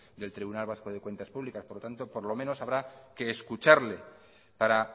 del tribunal vasco de cuentas públicas por lo menos habrá que escucharle para